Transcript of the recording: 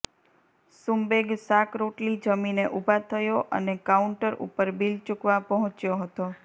સુંબેગ શાક રોટલી જમીને ઉભા થયો અને કાઉન્ટર ઉપર બીલ ચુંકવા પહોંચ્યો હતો